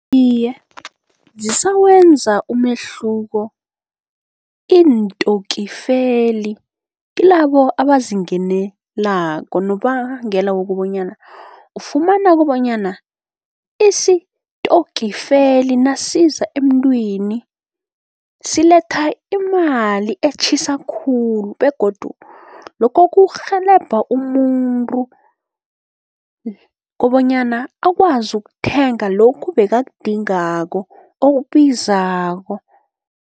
Iye, zisawenza umehluko iintokifeli kilabo abazingenelako nobangela wokobonyana, ufumana kobonyana isitokifeli nasiza emntwini siletha imali etjhisa khulu begodu lokho kurhelebha umuntu, kobonyana akwazi ukuthenga lokhu bekakudingako okubizako.